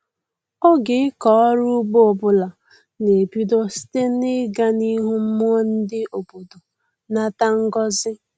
Oge ịkọ ọrụ ugbo ọbụla na-ebido site na-ịga n'ihu mmụọ ndị obodo nata ngọzị